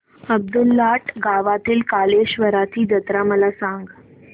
अब्दुललाट गावातील कलेश्वराची जत्रा मला सांग